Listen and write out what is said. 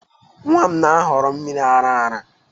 Nwa m na-ahọrọ mmiri ara ara